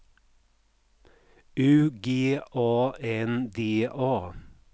U G A N D A